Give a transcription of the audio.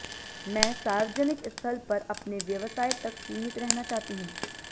मैं सार्वजनिक स्थल पर अपने व्यवसाय तक सीमित रहना चाहती हूं